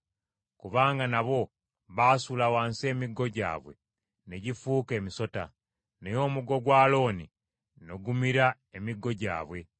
Kubanga nabo baasuula wansi emiggo gyabwe, ne gifuuka emisota; naye omuggo gwa Alooni ne gumira emiggo gyabwe.